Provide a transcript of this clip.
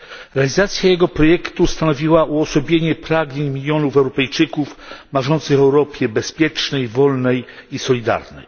Realizacja jego projektu stanowiła uosobienie pragnień milionów Europejczyków marzących o Europie bezpiecznej, wolnej i solidarnej.